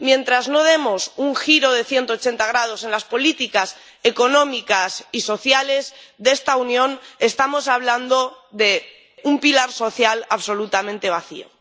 Mientras no demos un giro de 180 grados en las políticas económicas y sociales de esta Unión, estaremos hablando de un pilar social absolutamente vacío.